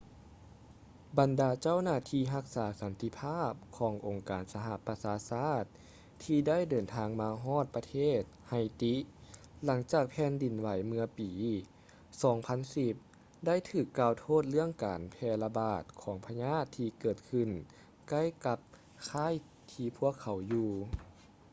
ບັນດາເຈົ້າໜ້າທີ່ຮັກສາສັນຕິພາບຂອງອົງການສະຫະປະຊາຊາດ ທີ່ໄດ້ເດີນທາງມາຮອດປະເທດ ໄຮຕີ haiti ຫຼັງຈາກແຜ່ນດິນໄຫວເມື່ອປີ 2010 ໄດ້ຖືກກ່າວໂທດເລື່ອງການແຜ່ລະບາດຂອງພະຍາດທີ່ເກີດຂຶ້ນໃກ້ກັບຄ້າຍທີ່ພວກເຂົາຢູ່